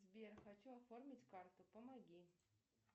сбер хочу оформить карту помоги